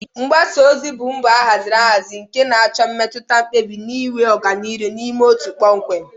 Mgbasa ozi bụ mbọ a haziri ahazi nke na-achọ imetụta mkpebi na-enwe ọganihu n'ime otu kpọmkwem